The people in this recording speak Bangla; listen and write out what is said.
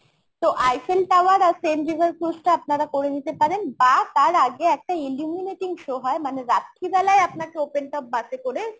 তো Eiffel Tower আর seine river cruise টা আপনারা করে নিতে পারেন বা তার আগে একটা illuminating show হয় মানে রাত্রিবেলায় আপনাকে open top bus এ করে